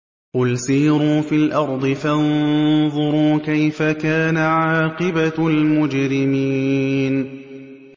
قُلْ سِيرُوا فِي الْأَرْضِ فَانظُرُوا كَيْفَ كَانَ عَاقِبَةُ الْمُجْرِمِينَ